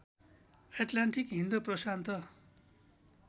Atlantic Hind Prashant